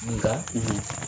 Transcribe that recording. Nka